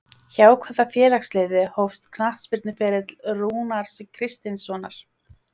Hjá hvaða félagsliði hófst knattspyrnuferill Rúnars Kristinssonar?